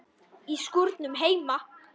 Í skúrnum heima.